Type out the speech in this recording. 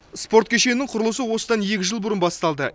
спорт кешенінің құрылысы осыдан екі жыл бұрын басталды